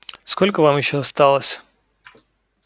сколько вам ещё осталось